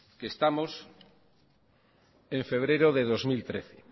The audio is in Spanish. que estamos en febrero de dos mil trece